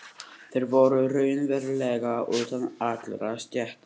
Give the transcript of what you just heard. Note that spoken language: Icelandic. Þeir voru raunverulega utan allra stétta.